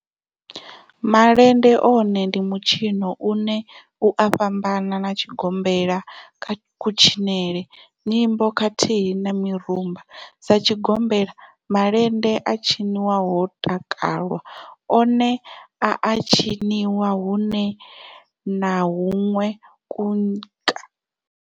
Malende one ndi mitshino une u a fhambana na tshigombela kha kutshinele, nyimbo khathihi na mirumba. Sa tshigombela, malende a tshinwa ho takalwa, one a a tshiniwa hunwe na hunwe.